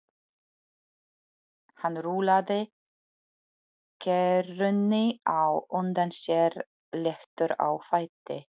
Hann rúllaði kerrunni á undan sér léttur á fæti.